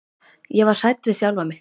Ég var hrædd við sjálfa mig.